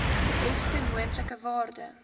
beste moontlike waarde